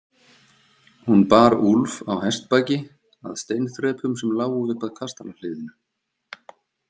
Hún bar Úlf á hestbaki að steinþrepum sem lágu upp að kastalahliðinu.